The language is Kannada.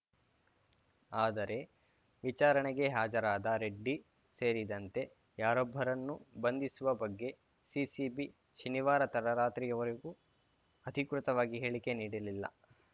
ಆದರೆ ವಿಚಾರಣೆಗೆ ಹಾಜರಾದ ರೆಡ್ಡಿ ಸೇರಿದಂತೆ ಯಾರೊಬ್ಬರನ್ನೂ ಬಂಧಿಸುವ ಬಗ್ಗೆ ಸಿಸಿಬಿ ಶನಿವಾರ ತಡರಾತ್ರಿಯವರೆಗೂ ಅಧಿಕೃತವಾಗಿ ಹೇಳಿಕೆ ನೀಡಿಲಿಲ್ಲ